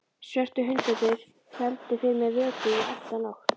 Svörtu hundarnir héldu fyrir mér vöku í alla nótt.